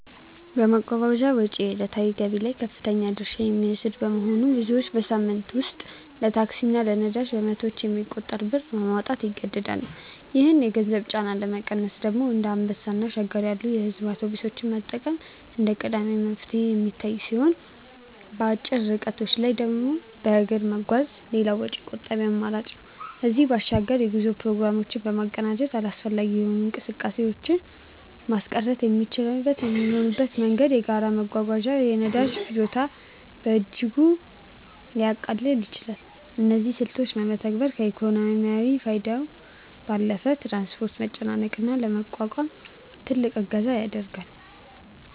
የመጓጓዣ ወጪ ከዕለታዊ ገቢ ላይ ከፍተኛውን ድርሻ የሚወስድ በመሆኑ፣ ብዙዎች በሳምንት ውስጥ ለታክሲ እና ለነዳጅ በመቶዎች የሚቆጠር ብር ለማውጣት ይገደዳሉ። ይህንን የገንዘብ ጫና ለመቀነስ ደግሞ እንደ አንበሳ እና ሸገር ያሉ የሕዝብ አውቶቡሶችን መጠቀም እንደ ቀዳሚ መፍትሄ የሚታይ ሲሆን፣ በአጭር ርቀቶች ላይ በእግር መጓዝም ሌላው ወጪ ቆጣቢ አማራጭ ነው። ከዚህም በባሻግር የጉዞ ፕሮግራሞችን በማቀናጀት አላስፈላጊ እንቅስቃሴዎችን ማስቀረትና የሚቻለው በሚሆንበት ጊዜ በጋራ መጓዝ የነዳጅ ፍጆታን በእጅጉ ሊያቃልል ይችላል። እነዚህን ስልቶች መተግበር ከኢኮኖሚያዊ ፋይዳው ባለፈ የትራንስፖርት መጨናነቅን ለመቋቋም ትልቅ እገዛ ያደርጋል።